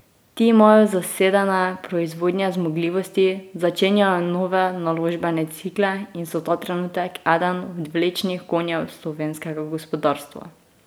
Ti imajo zasedene proizvodnje zmogljivosti, začenjajo nove naložbene cikle in so ta trenutek eden od vlečnih konjev slovenskega gospodarstva.